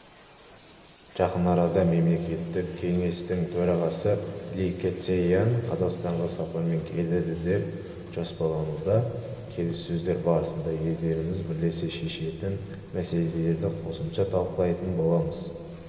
жақын арада мемлекеттік кеңестің төрағасы ли кэцян қазақстанға сапармен келеді деп жоспарлануда келіссөздер барысында елдеріміз бірлесе шешетін мәселелерді қосымша талқылайтын боламыз